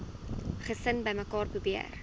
gesin bymekaar probeer